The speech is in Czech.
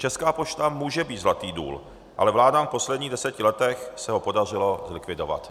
Česká pošta může být zlatý důl, ale vládám v posledních deseti letech se ho podařilo zlikvidovat.